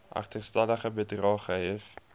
agterstallige bedrae gehef